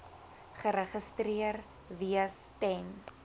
geregistreer wees ten